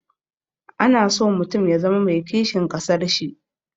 Ana so mutum ya zama mai kishin ƙasar shi.